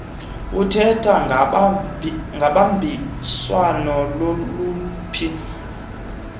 uthetha ngobambiswano loluphi